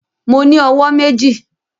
Mo ní owó méjì